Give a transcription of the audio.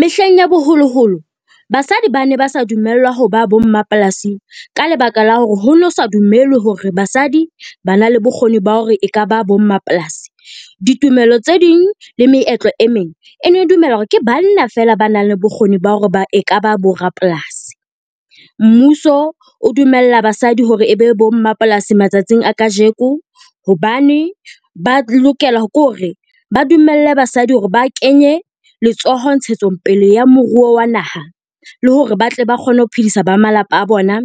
Mehleng ya boholoholo, basadi bane ba sa dumellwa ho ba bo mmapolasi ka lebaka la hore hono sa dumelwe hore basadi ba na le bokgoni ba hore e kaba bo mmapolasi. Ditumelo tse ding le meetlo e meng e ne dumela hore ke banna fela ba nang le bokgoni ba hore e kaba bo rapolasi. Mmuso o dumella basadi hore e be bo mmapolasi matsatsing a kajeko, hobane ba lokela ke hore ba dumelle basadi ho re ba kenye letsoho ntshetsongpele ya moruo wa naha, le hore ba tle ba kgone ho phedisa ba malapa a bona